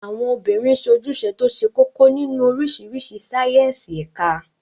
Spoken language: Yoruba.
Àwọn obìnrin sojúse tó ṣe kókó nínú oríṣiríṣi sáíyẹ́nsì ẹ̀ka